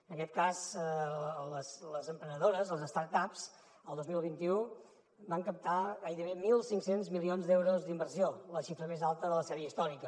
en aquest cas les emprenedores les start ups el dos mil vint u van captar gairebé mil cinc cents milions d’euros d’inversió la xifra més alta de la sèrie històrica